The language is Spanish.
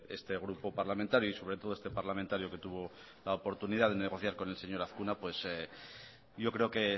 este grupo parlamentario y sobre todo este parlamentario que tuvo la oportunidad de negociar con el señor azkuna pues yo creo que